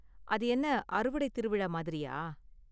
அது என்ன அறுவடை திருவிழா மாதிரியா?